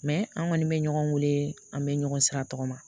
an kɔni bɛ ɲɔgɔn wele an bɛ ɲɔgɔn sira tɔgɔma